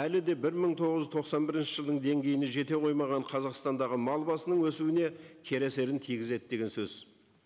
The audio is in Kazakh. әлі де бір мың тоғыз жүз тоқсан бірінші жылдың деңгейіне жете қоймаған қазақстандағы мал басының өсуіне кері әсерін тигізеді деген сөз